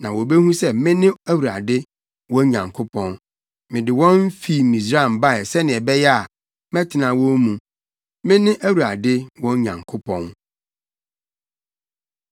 na wobehu sɛ mene Awurade, wɔn Nyankopɔn. Mede wɔn fi Misraim bae sɛnea ɛbɛyɛ a, mɛtena wɔn mu. Mene Awurade wɔn Nyankopɔn.